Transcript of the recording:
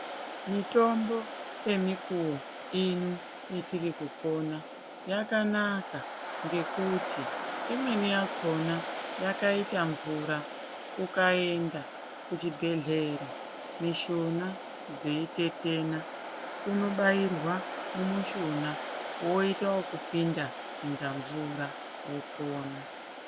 Mitombo yemukuwo ino yetiri kupona yakanaka ngekuti imweni yakona yakaita mvura, ukaenda kuchibhehleya mushuna dzeitetena unobairwa mumishuna woita kupinda kunga mvura wopona.